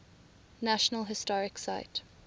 national historic site